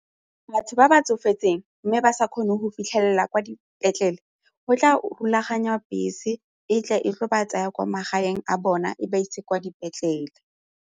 Batho ba ba tsofetseng mme ba sa kgone go fitlhelela kwa dipetlele go tla rulaganyiwa bese e tla e tlo ba tsaya kwa magaeng a bona e ba ise kwa dipetlele.